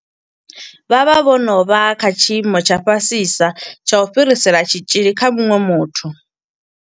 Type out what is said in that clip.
Vha vha vho no vha kha tshiimo tsha fhasisa tsha u fhirisela tshitzhili kha muṅwe muthu.